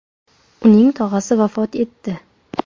Uning tog‘asi vafot etdi.